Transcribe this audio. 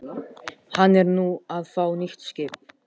Hann er nú að fá nýtt skip.